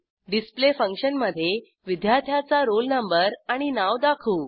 display फंक्शनमधे विद्यार्थ्याचा roll number आणि नाव दाखवू